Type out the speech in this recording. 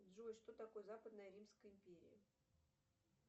джой что такое западная римская империя